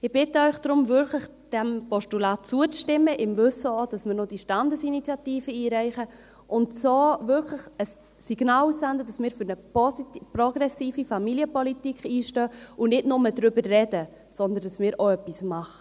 Ich bitte Sie daher wirklich, diesem Postulat zuzustimmen – auch im Wissen, dass wir noch diese Standesinitiative einreichen – und so wirklich ein Signal auszusenden, dass wir für eine progressive Familienpolitik einstehen und nicht nur darüber reden, sondern dass wir auch etwas machen.